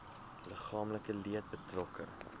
liggaamlike leed betrokke